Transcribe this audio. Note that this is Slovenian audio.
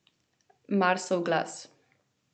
Marsov glas.